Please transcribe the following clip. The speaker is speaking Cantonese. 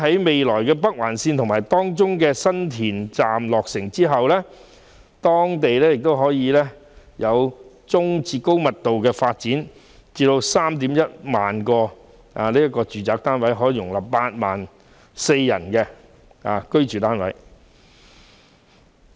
未來北環綫方面，政府預計在新田站落成後，該區可作中、高密度的發展，而 31,000 個住宅單位，可供 84,000 人居住。